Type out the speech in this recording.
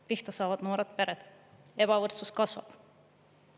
Pihta saavad noored pered, ebavõrdsus kasvab.